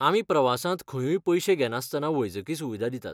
आमी प्रवासांत खंयूय पयशे घेनासतना वैजकी सुविधा दितात.